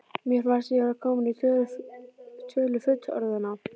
Mér fannst ég vera komin í tölu fullorðinna.